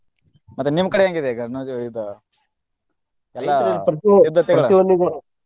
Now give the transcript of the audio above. ಮತ್ತೆ ನಿಮ್ಮ್ ಕಡೆ ಹೆಂಗ್ ಇದೆ ಗನ~ ಇದ ಎಲ್ಲಾ .